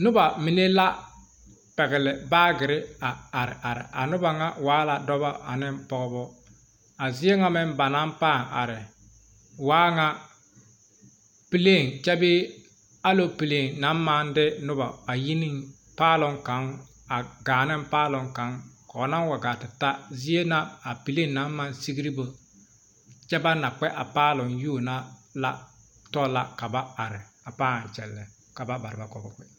Noba mine la pɛgle baagere a are are a noba ŋa waa la dɔba ane pɔgeba a zie ŋa meŋ ba naŋ paa are waa ŋa plane kyɛbee aloplane naŋ maŋ de noba ayine paaloŋ kaŋ a gaa neŋ paaloŋ kaŋ kɔɔnaŋ wa gaa ta zie na a plane naŋ maŋ sigri bo kyɛ ba naŋ kpɛ a paaloŋ yuo na tɔ la ka ba are a paa kyɛllɛ ka ba bareba ka ba kpɛ